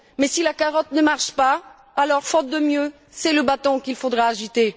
Mais si la carotte ne marche pas, alors, faute de mieux, c'est le bâton qu'il faudra agiter.